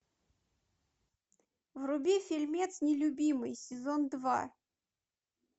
вруби фильмец нелюбимый сезон два